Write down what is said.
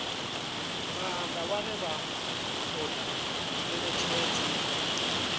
maanḓa vhane vha ṱoḓa ngeletshedzo